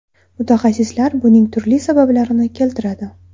Mutaxassislar buning turli sabablarini keltiradi.